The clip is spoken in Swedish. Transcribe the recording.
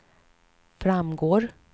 framgår